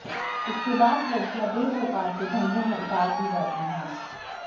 इसके बाद लड़कियां देह व्यापार के धंधे में उतार दी जाती हैं